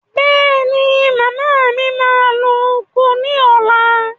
Bẹ́è ni, màmá mi máa lọ oko ní ọ̀la.